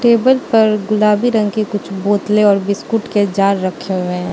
Table पर गुलाबी रंग के कुछ बोतले और बिस्कुट के जार रखे हुए हैं।